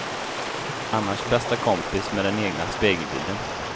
Annars bästa kompis med den egna spegelbilden.